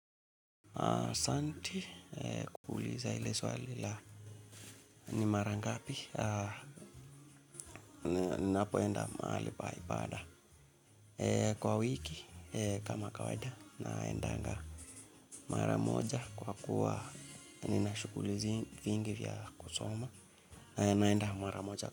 Asante kwa kuuliza hili swali la ni mara ngapi ninapoenda mahali pa ibada kwa wiki kama kawaida naendanga mara moja kwa kuwa nina shughuli nyingi za kusoma naenda mara moja.